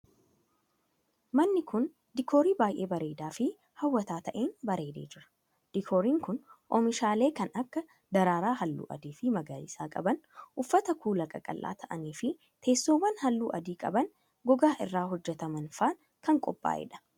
manni kun, diikoorii baay'ee bareedaa fi haw'ataa ta'een bareedee jira. Diikooriin kun, oomishaalee kan akka :daraaraa haalluu adii fi magariisa qaban, uffata kuulaa qaqallaa ta'anii fi teessoowwan haalluu adii qaban gogaa irraa hojjatamaniin faa kan qophaa'e dha.